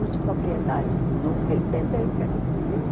Os proprietários nunca entenderam o que é que eu fazia lá.